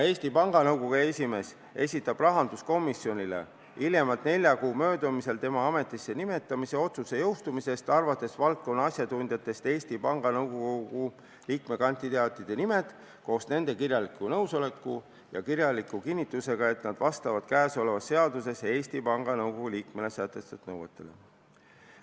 Eesti Panga Nõukogu esimees esitab rahanduskomisjonile hiljemalt nelja kuu möödumisel tema ametisse nimetamise otsuse jõustumisest alates valdkonna asjatundjatest Eesti Panga Nõukogu liikmekandidaatide nimed koos nende kirjaliku nõusoleku ja kirjaliku kinnitusega, et nad vastavad käesolevas seaduses Eesti Panga Nõukogu liikmele sätestatud nõuetele.